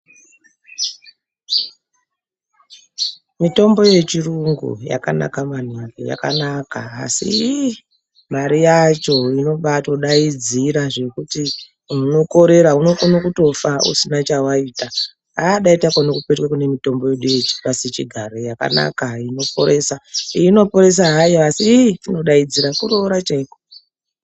Mitombo yechirungu yakanaka maningi, yakanaka asi ihh! mare yacho inobaadaidzira zvekuti iunokorera unokone kutofa usina chewaitaagh dai takone kupetuka kune mitombo yedu yepasichigare yakanaka inoporesa, iyi inoporesa hayo asi ihh inodaidzira kuroora chaiko